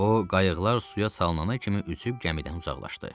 O qayıqlar suya sallanana kimi üzüb gəmidən uzaqlaşdı.